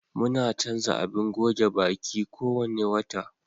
Muna canza abin goge baƙi kuwanna wata.